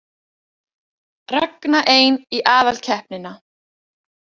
Ragna ein í aðalkeppnina